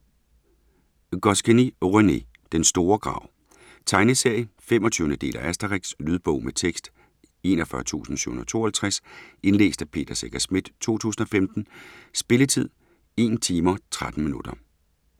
Goscinny , René: Den store grav Tegneserie. 25. del af Asterix. Lydbog med tekst 41752 Indlæst af Peter Secher Schmidt, 2015. Spilletid: 1 timer, 13 minutter.